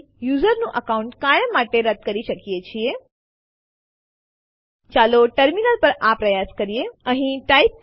file વાસ્તવમાં file રદ થઈ છે કે નહિ તે જોવા માટે ચાલો ફરીથી એલએસ ટેસ્ટડિર લખીએ અને Enter દબાવીએ